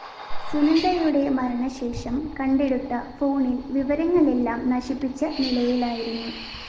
സുനന്ദയുടെ മരണശേഷം കണ്ടെടുത്ത ഫോണില്‍ വിവരങ്ങളെല്ലാം നശിപ്പിച്ച നിലയിലായിരുന്നു